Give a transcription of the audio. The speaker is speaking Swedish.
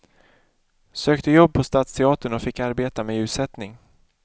Sökte jobb på stadsteatern och fick arbeta med ljussättning.